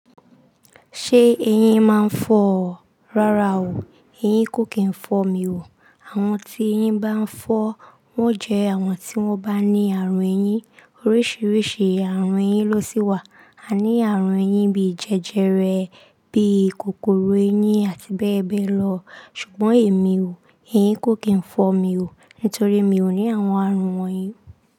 Ṣé eyín máa ń fọ́ ọ? Rárá o, eyín kò kì í fọ mi o. Àwọn tí eyín bá ń fọ́ wọ́n jẹ́ àwọn tí wọ́n bá ní àrùn eyín. Oríṣiríṣi àrùn eyín ló sí wà. A ní àrùn eyín bí jẹjẹrẹ, bí kòkòrò eyín àti bẹ́ẹ̀ bẹ́ẹ̀ lọ. Ṣùgbọ́n èmi o, eyín kò kì í fọ mi o nítorí mi ò ní àwọn àrùn wọ̀nyí.